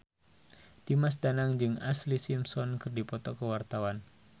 Dimas Danang jeung Ashlee Simpson keur dipoto ku wartawan